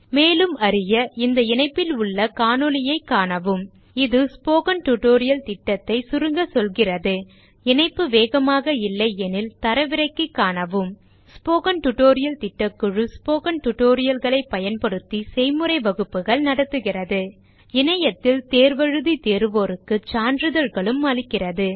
மேலும் அறிய இந்த இணைப்பில் உள்ள காணொளியைக காணவும் 1 இது ஸ்போக்கன் டியூட்டோரியல் திட்டத்தை சுருங்க சொல்கிறது இணைப்பு வேகமாக இல்லையெனில் தரவிறக்கி காணவும் ஸ்போக்கன் டியூட்டோரியல் திட்டக்குழு ஸ்போக்கன் tutorial களைப் பயன்படுத்தி செய்முறை வகுப்புகள் நடத்துகிறது இணையத்தில் தேர்வு எழுதி தேர்வோருக்கு சான்றிதழ்களும் அளிக்கிறது